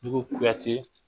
Kuyate